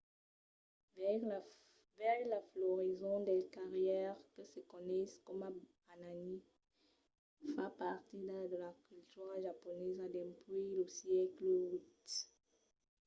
veire la florison dels cerièrs que se coneis coma hanami fa partida de la cultura japonesa dempuèi lo sègle viii